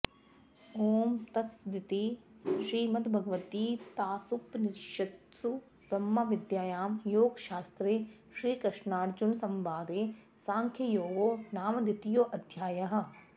ॐ तत्सदिति श्रीमद्भगवद्गीतासूपनिषत्सु ब्रह्मविद्यायां योगशास्त्रे श्रीकृष्नार्जुनसंवादे साङ्ख्ययोगो नाम द्वितीयोऽध्यायः